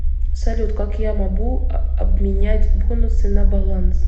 салют как я мобу обминять бонусы на баланс